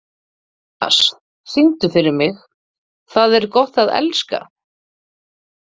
Matthías, syngdu fyrir mig „Tað er gott at elska“.